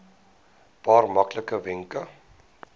paar maklike wenke